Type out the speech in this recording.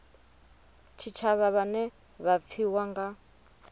tshitshavha vhane vha pfiwa nga